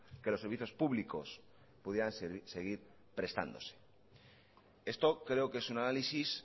que los servicios públicos pudieran seguir prestándose esto creo que es un análisis